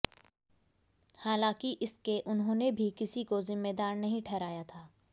हालांकि इसके उन्होंने भी किसी को जिम्मेदार नहीं ठहराया था